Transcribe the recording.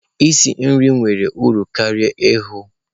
Isi nri nwere uru karịa ighe.